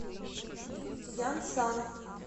янсан